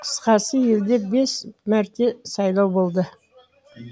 қысқасы елде бес мәрте сайлау болды